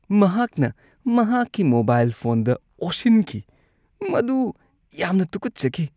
ꯃꯍꯥꯛꯅ ꯃꯍꯥꯛꯀꯤ ꯃꯣꯕꯥꯏꯜ ꯐꯣꯟꯗ ꯑꯣꯁꯤꯟꯈꯤ꯫ ꯃꯗꯨ ꯌꯥꯝꯅ ꯇꯨꯈꯠꯆꯈꯤ꯫